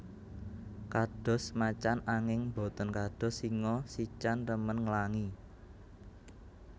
Kados macan anging boten kados singa sican remen nglangi